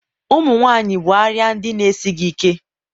ụmụ nwanyị bụ arịa ndị na-esighị ike.